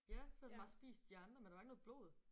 Ja så har den bare spist de andre men der var ikke noget blod